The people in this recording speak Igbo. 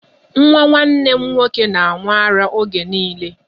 Nwa nwanne m nwoke na-aṅụ ara oge niile.